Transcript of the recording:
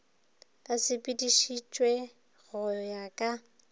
e sepeditšwe go ya ka